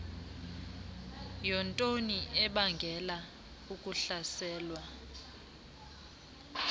yontoni ebangela ukuhlaselwa